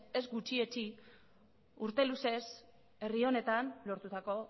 ez gutxietsi urte luzez herri honetan lortutako